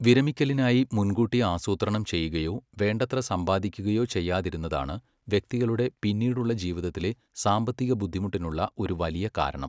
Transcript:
വിരമിക്കലിനായി മുൻകൂട്ടി ആസൂത്രണം ചെയ്യുകയോ വേണ്ടത്ര സമ്പാദിക്കുകയോ ചെയ്യാതിരുന്നതാണ് വ്യക്തികളുടെ പിന്നീടുള്ള ജീവിതത്തിലെ സാമ്പത്തിക ബുദ്ധിമുട്ടിനുള്ള ഒരു വലിയ കാരണം.